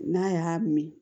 N'a y'a min